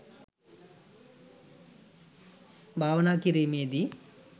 භාවනා කිරීමේ දී